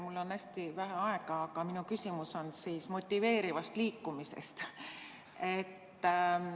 Mul on hästi vähe aega, aga minu küsimus on motiveeriva liikumise kohta.